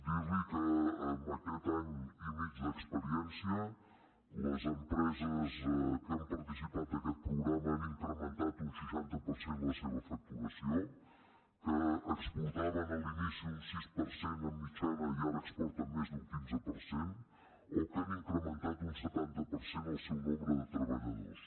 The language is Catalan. dir li que en aquest any i mig d’experiència les empreses que han participat d’aquest programa han incrementat un seixanta per cent la seva facturació que exportaven a l’inici un sis per cent de mitjana i ara exporten més d’un quinze per cent o que han incrementat un setanta per cent el seu nombre de treballadors